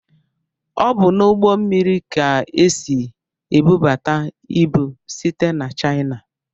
Ọ bụ n'ugbó mmiri ka esị ebubata ịbụ site n'china.